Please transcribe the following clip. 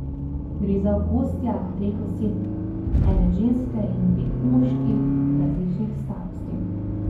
Gre za okostja treh oseb, ene ženske in dveh moških različnih starosti.